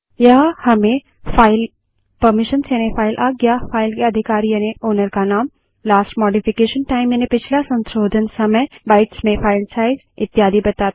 यह हमें file permissions यानि फाइल आज्ञा फाइल के अधिकारी यानि ओनर का नाम लास्ट मोडिफिकेशन टाइम यानि पिछला संशोधन समय बाइट्स में फाइल साइज़ इत्यादि बताता है